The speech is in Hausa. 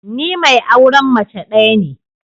Ni mai auren mace daya ne.